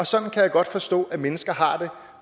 sådan kan jeg godt forstå mennesker har det